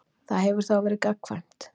Það hefur þá verið gagnkvæmt.